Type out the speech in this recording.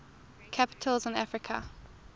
capitals in africa